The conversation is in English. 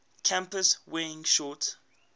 campus wearing shorts